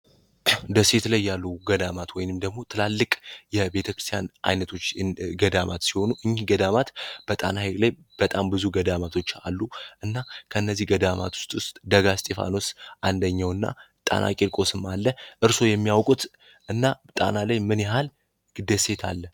ደሴት ላይ ያሉ ገዳማት ወይንም ደግሞ ትላልቅ የቤተክርስያን አይነቶች ገዳማት ሲሆኑ እኝህ ገዳማት በጣና ላይ በጣም ብዙ ገዳማቶች አሉ እና ከነዚህ ገዳማት ውስጥ ውስጥ ደጋ ስጢፋኖስ አንደኘው እና ጣና ቂልቆስም አለ እርስዎ የሚያውቁት እና ጣና ላይ ምን ያሃል ደሴት አለ?